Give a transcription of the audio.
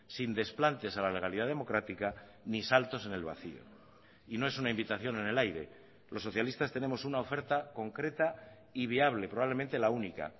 sin desplantes a la legalidad democrática ni saltos en el vacío y no es una invitación en el aire los socialistas tenemos una oferta concreta y viable probablemente la única